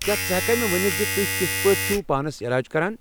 کیا ژٕ ہیٚکہ کھا مےٚ ؤنتھ ز تُہۍ كِتھہٕ پٲٹھۍ چُھو پانس علاج کران؟